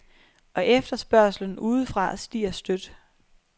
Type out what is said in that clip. Og efterspørgslen udefra stiger støt.